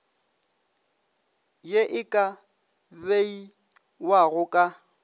ye e ka beiwago ka